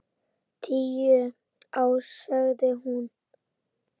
Tíu ár, sagði hún.